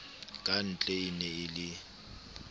kantle e ne e le